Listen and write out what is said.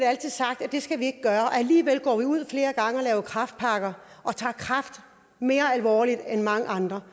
altså sagt at det skal vi ikke gøre alligevel går vi ud flere gange og laver kræftpakker og tager kræft mere alvorligt end mange andre